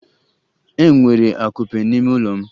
Ee, enwere akupe n'ime ụlọ m.